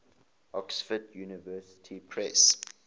oxford university press